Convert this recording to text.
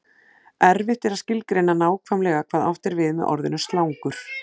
erfitt er að skilgreina nákvæmlega hvað átt er við með orðinu slangur